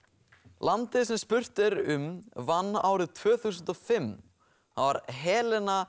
landið sem spurt er um vann árið tvö þúsund og fimm það var Helena